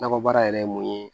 Nakɔ baara yɛrɛ ye mun ye